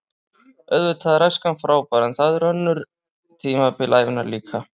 Auðvitað er æskan frábær en það eru önnur tímabil ævinnar líka.